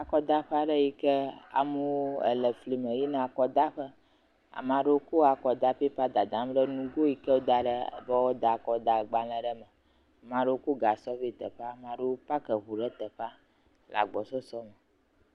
Akɔdaƒe aɖe yike amewo ele fli me yina akɔdaƒe, amea ɖewo kɔ akɔda pepa dadam ɖe nugo yike woda ɖe be woada akɔgbalẽa ɖe me, ame ɖewo kɔ gasɔ vva teƒea, ame ɖewo pak eŋu ɖe teƒea le agbɔsɔsɔ me.